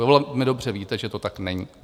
Vy velmi dobře víte, že to tak není.